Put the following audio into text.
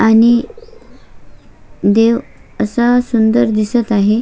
आणि देव असा सुंदर दिसत आहे.